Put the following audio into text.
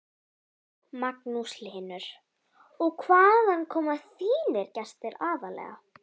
Magnús Hlynur: Og hvaðan koma þínir gestir aðallega?